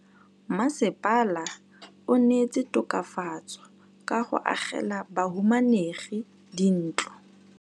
Mmasepala o neetse tokafatsô ka go agela bahumanegi dintlo.